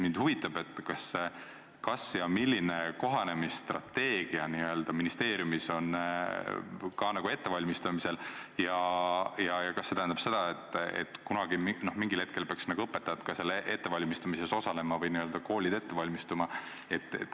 Mind huvitab, kas ja milline n-ö kohanemisstrateegia on ministeeriumis ettevalmistamisel ja kas see tähendab seda, et mingil hetkel peaksid ka õpetajad selles ettevalmistamises osalema või n-ö koolid ette valmistuma.